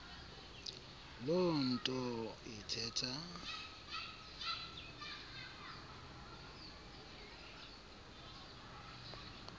loo nto ithetha